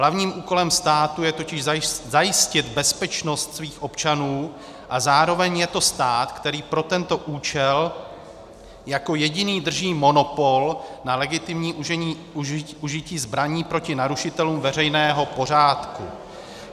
Hlavním úkolem státu je totiž zajistit bezpečnost svých občanů a zároveň je to stát, který pro tento účel jako jediný drží monopol na legitimní užití zbraní proti narušitelům veřejného pořádku.